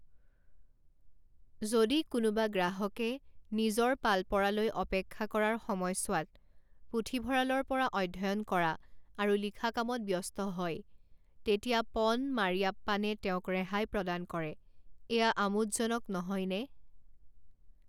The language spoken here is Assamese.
যদি কোনোবা গ্ৰাহকে নিজৰ পাল পৰালৈ অপেক্ষা কৰাৰ সময়ছোৱাত পুথিভঁৰালৰ পৰা অধ্যয়ন কৰা আৰু লিখা কামত ব্যস্ত হয় তেতিয়া পন মাৰিয়াপ্পানে তেওঁক ৰেহাই প্ৰদান কৰে এয়া আমোদজনক নহয়নে?